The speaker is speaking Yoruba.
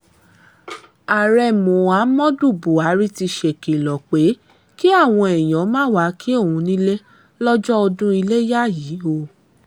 ààrẹ muhammadu buhari ti ṣèkìlọ̀ pé kí àwọn èèyàn má wàá kí òun nílé lọ́jọ́ ọdún iléyà yìí o